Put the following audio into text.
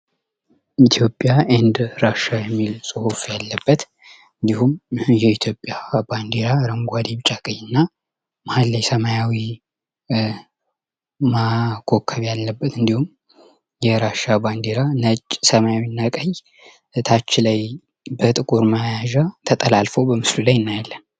ኢትዮጵያ እና ራሽያ የሚል ጹሑፍ ያለበት እንዲሁም የኢትዮጵያ አረንጓዴ ቢጫ ቀይና መሃል ላይ ሰማያዊ ኮከብ ያለበት እንዲሁም የራሽያ ባንዲራ ሰማያዊና ቀይ እታች ላይ በጥቁር መያዣ ተላልፎ በምስሉ ላይ እናያለን።